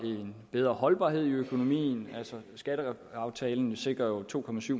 en bedre holdbarhed i økonomien altså skatteaftalen sikrer jo to